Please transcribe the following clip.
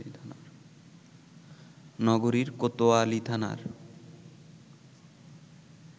নগরীর কোতোয়ালী থানার